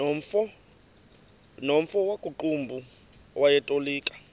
nomfo wakuqumbu owayetolika